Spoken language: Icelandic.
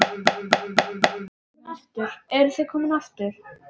Eruð þið komin aftur?